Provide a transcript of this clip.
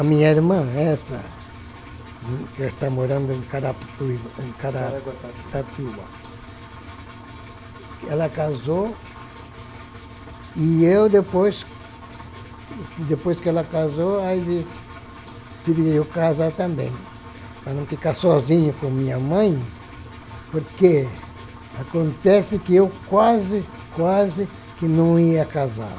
A minha irmã, essa, que está morando em Carapicuiba, em Caraguatatuba Caraguatatuba, ela casou, e eu, depois depois que ela casou, aí tive que casar também, para não ficar sozinho com minha mãe, porque acontece que eu quase, quase que não ia casar.